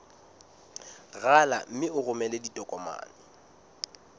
rala mme o romele ditokomene